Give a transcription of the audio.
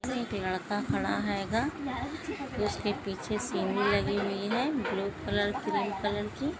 एक लड़का खड़ा हेगा जिसके पिछे लगी हुयी है ब्लू कलर क्रीम कलर की।